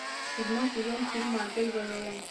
седьмой сезон фильма отель вавилон